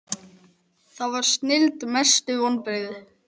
það var snilld Mestu vonbrigði?